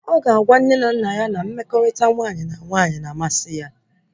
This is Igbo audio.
Ọ ga agwa nne na nna ya na mmekọrịta nwaanyị na nwaanyị na-amasị ya